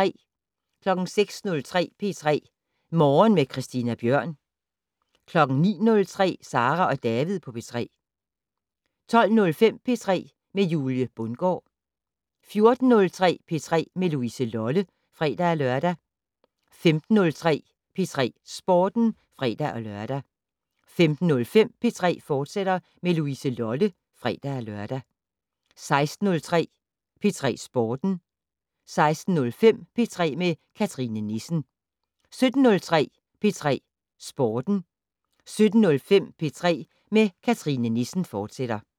06:03: P3 Morgen med Christina Bjørn 09:03: Sara og David på P3 12:05: P3 med Julie Bundgaard 14:03: P3 med Louise Lolle (fre-lør) 15:03: P3 Sporten (fre-lør) 15:05: P3 med Louise Lolle, fortsat (fre-lør) 16:03: P3 Sporten 16:05: P3 med Cathrine Nissen 17:03: P3 Sporten 17:05: P3 med Cathrine Nissen, fortsat